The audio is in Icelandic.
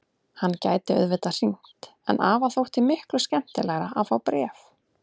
Hann gæti auðvitað hringt en afa þótti miklu skemmtilegra að fá bréf.